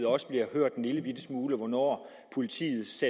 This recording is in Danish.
også bliver hørt en lille bitte smule om hvornår politiets